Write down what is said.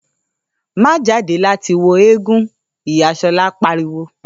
‘Má jáde láti wo eégún!’, ìyá S̩o̩lá pariwo